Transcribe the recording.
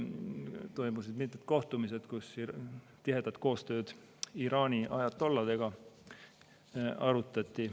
Toimusid mitmed kohtumised, kus arutati tihedat koostööd Iraani ajatolladega.